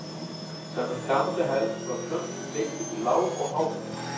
Samkvæmt gamalli hefð var plöntum deilt upp í lág- og háplöntur.